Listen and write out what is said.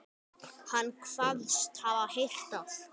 Hann kvaðst hafa heyrt að